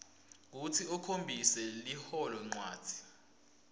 kutsi ukhombise liholonchanti